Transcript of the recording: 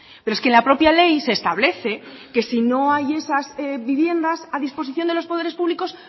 pero es que la propia ley se establece que si no hay esas viviendas a disposición de los poderes públicos